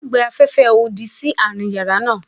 A o gbe afẹfẹ odi si aarin yara naa